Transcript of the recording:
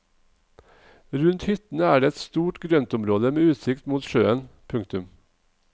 Rundt hyttene er det et stort grøntområde med utsikt mot sjøen. punktum